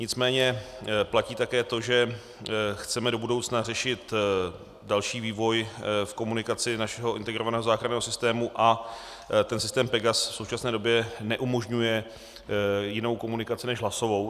Nicméně platí také to, že chceme do budoucna řešit další vývoj v komunikaci našeho integrovaného záchranného systému a ten systém PEGAS v současné době neumožňuje jinou komunikaci než hlasovou.